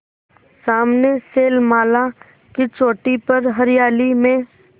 सामने शैलमाला की चोटी पर हरियाली में